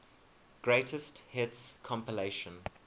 greatest hits compilation